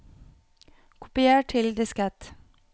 kopier til diskett